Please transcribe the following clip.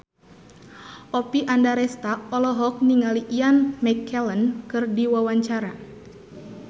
Oppie Andaresta olohok ningali Ian McKellen keur diwawancara